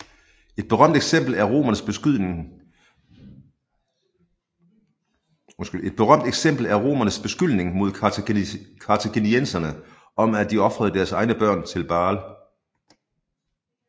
Et berømt eksempel er romernes beskyldning mod kartaginienserne om at de ofrede deres egne børn til Baal